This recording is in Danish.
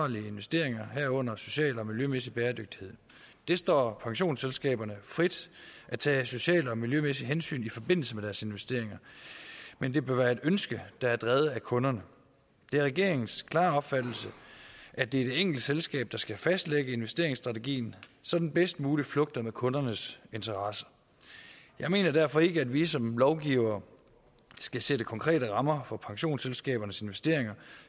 investeringer herunder social og miljømæssig bæredygtighed det står pensionsselskaberne frit at tage sociale og miljømæssige hensyn i forbindelse med deres investeringer men det bør være et ønske der er drevet af kunderne det er regeringens klare opfattelse at det er det enkelte selskab der skal fastlægge investeringsstrategien så den bedst muligt flugter med kunderne interesser jeg mener derfor ikke at vi som lovgivere skal sætte konkrete rammer for pensionsselskabernes investeringer